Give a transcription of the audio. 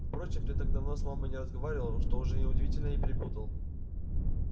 впрочем ты так давно с мамой не разговаривал что уже неудивительно и перепутал